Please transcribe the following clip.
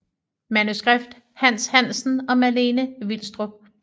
Manuskript Hans Hansen og Malene Vilstrup